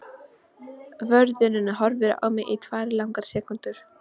Vörðurinn horfir á mig í tvær langar sekúndur.